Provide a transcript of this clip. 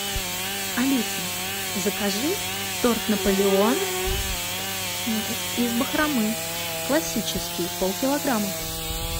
алиса закажи торт наполеон из бахромы классический полкилограмма